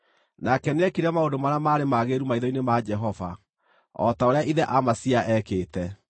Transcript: Nake nĩekire maũndũ marĩa maarĩ magĩrĩru maitho-inĩ ma Jehova, o ta ũrĩa ithe Amazia eekĩte.